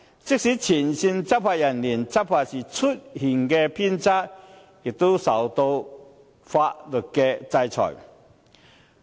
即使前線執法人員在執法時出現偏差，也會受到法律制裁。